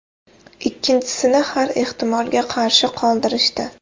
Ikkinchisini har ehtimolga qarshi qoldirishdi.